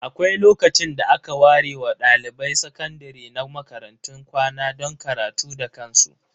Akwai lokacin da aka ware ma dalibai sakandare na makarantun kwana don karatu da kansu.